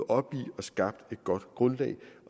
op i og skabt et godt grundlag